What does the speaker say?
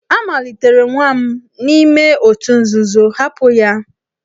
A malitere nwa m n'ime òtù nzuzo, hapụ ya!